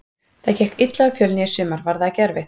Það gekk illa hjá Fjölni í sumar, var það ekki erfitt?